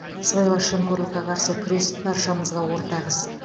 сыбайлас жемқорлыққа қарсы күрес баршамызға ортақ іс